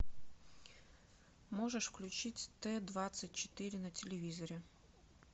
можешь включить т двадцать четыре на телевизоре